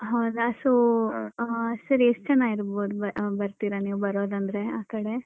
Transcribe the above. ಹೌದಾ so ಹ ಅಹ್ sir ಎಷ್ಟ್ ಜನ ಇರ್ಬೋದು ಅಹ್ ಬರ್ತೀರಾ ನೀವು ಬರೋದಂದ್ರೆ ಆ ಕಡೆ